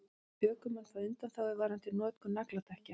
Ökumenn fá undanþágu varðandi notkun nagladekkja